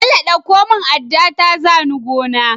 Bello ɗauko mun adda ta zani gona